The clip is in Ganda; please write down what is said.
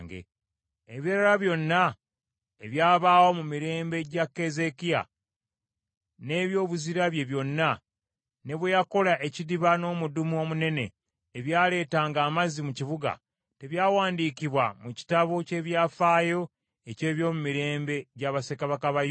Ebirala byonna ebyabaawo mu mirembe gya Keezeekiya n’ebyobuzira bye byonna, ne bwe yakola ekidiba n’omudumu omunene ebyaleetanga amazzi mu kibuga, tebyawandiikibwa mu kitabo ky’ebyafaayo eky’ebyomumirembe bya bassekabaka ba Yuda?